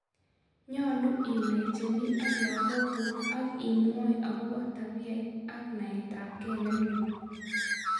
Nyolu inai chemii ak lagokuuk ak imwoi akobo tabiat ak naetabkee nemie